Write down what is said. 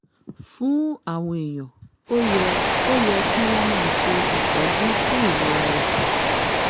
fún àwọn èèyàn ó yẹ ó yẹ kí wọ́n máa ṣe ìtọ́jú fún ìrora ẹ̀sẹ̀